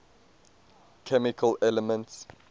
chemical elements